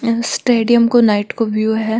यह स्टेडिम को नाईट को व्यू है।